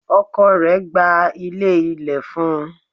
Ọkọ rẹ̀ gba ilé ilẹ̀ fún un.